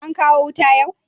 An kawo wuta yau?